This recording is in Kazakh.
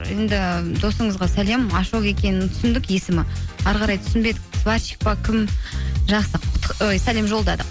енді досыңызға сәлем ашок екенін түсіндік есімі әрі қарай түсінбедік сварщик пе кім жақсы сәлем жолдадық